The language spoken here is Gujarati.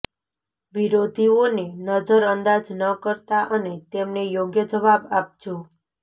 વિરોધીઓને નજર અંદાજ ન કરતા અને તેમને યોગ્ય જવાબ આપજો